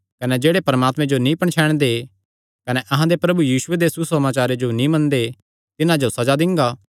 कने जेह्ड़े परमात्मे जो नीं पणछैणदे कने अहां दे प्रभु यीशुये दे सुसमाचारे जो नीं मनदे तिन्हां जो सज़ा दिंगा